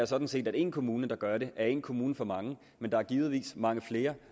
sådan set at én kommune der gør det er én kommune for meget men der er givetvis mange flere